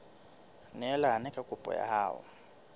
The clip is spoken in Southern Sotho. neelane ka kopo ya hao